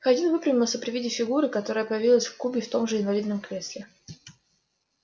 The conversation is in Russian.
хардин выпрямился при виде фигуры которая появилась в кубе в том же инвалидном кресле